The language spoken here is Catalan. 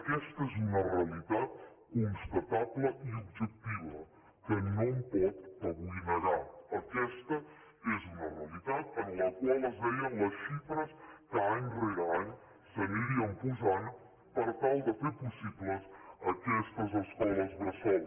aquesta és un realitat constatable i objectiva que no em pot avui negar aquesta és una realitat en la qual es deien les xifres que any rere any s’anirien posant per tal de fer possibles aquestes escoles bressol